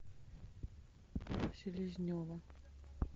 селезнева